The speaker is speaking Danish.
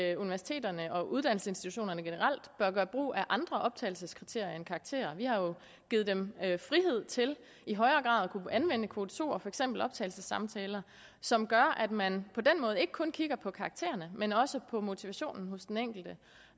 at universiteterne og uddannelsesinstitutionerne generelt bør gøre brug af andre optagelseskriterier end karakterer vi har jo givet dem frihed til i højere grad at kunne anvende kvote to og for eksempel optagelsessamtaler som gør at man på den måde ikke kun kigger på karaktererne men også på motivationen hos den enkelte